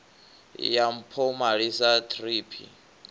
ya mpomali sa thrip i